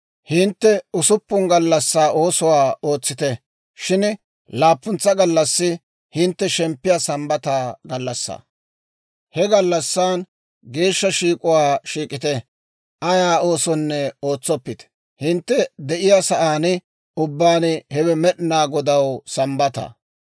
« ‹Hintte usuppun gallassaa oosuwaa ootsiita; shin laappuntsa gallassi hintte shemppiyaa Sambbata gallassaa; he gallassan geeshsha shiik'uwaa shiik'ite; ayaa oosonne ootsoppite; hintte de'iyaa sa'aan ubbaan hewe Med'inaa Godaw Sambbataa.